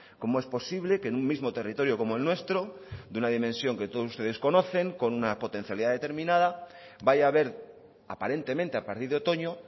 cómo es posible que en un mismo territorio como el nuestro de una dimensión que todos ustedes conocen con una potencialidad determinada vaya a haber aparentemente a partir de otoño